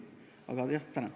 Jah, tänan!